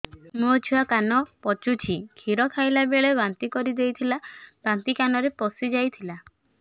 ମୋ ଛୁଆ କାନ ପଚୁଛି କ୍ଷୀର ଖାଇଲାବେଳେ ବାନ୍ତି କରି ଦେଇଥିଲା ବାନ୍ତି କାନରେ ପଶିଯାଇ ଥିଲା